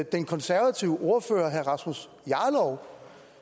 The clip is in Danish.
den konservative ordfører herre rasmus jarlov